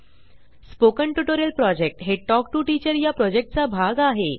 spoken tutorial project हे talk to teacher चा भाग आहे